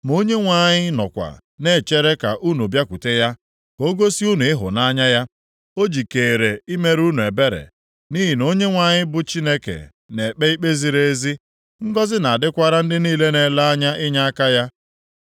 Ma Onyenwe anyị nọkwa na-echere ka unu bịakwute ya, ka o gosi unu ịhụnanya ya. O jikeere imere unu ebere, nʼihi na Onyenwe anyị bụ Chineke na-ekpe ikpe ziri ezi. Ngọzị na-adịkwara ndị niile na-ele anya inyeaka ya.